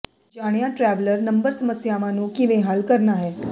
ਜਾਣਿਆ traveller number ਸਮੱਸਿਆਵਾਂ ਨੂੰ ਕਿਵੇਂ ਹੱਲ ਕਰਨਾ ਹੈ